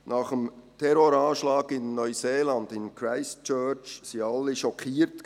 Nach dem Terroranschlag in Neuseeland, in Christchurch, waren alle schockiert.